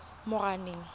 moranang